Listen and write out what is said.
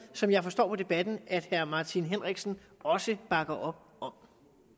som jeg forstår på debatten at herre martin henriksen også bakker op om